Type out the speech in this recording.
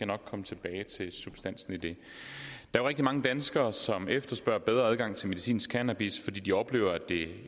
nok komme tilbage til substansen i det der er rigtig mange danskere som efterspørger bedre adgang til medicinsk cannabis fordi de oplever at det